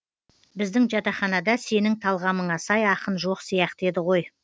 біздің жатақханада сенің талғамыңа сай ақын жоқ сияқты еді ғой